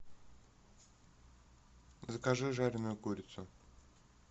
закажи жареную курицу